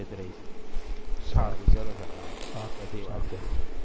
સાવચેત રહીશું સારું ચલો પછી વાત કરીએ